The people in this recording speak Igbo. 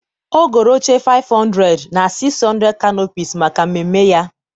ọ goro oche 500 na 600 canopies maka mmemme ya.